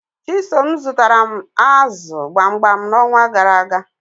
Chisom zutara m azu gbamgbam nxonwa garaaga